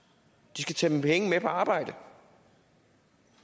de skal tage penge med på arbejde og